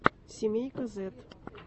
семейка зэд